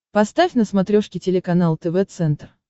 поставь на смотрешке телеканал тв центр